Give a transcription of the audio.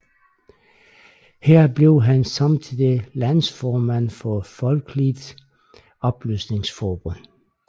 Her blev han samtidig landsformand for Folkeligt Oplysningsforbund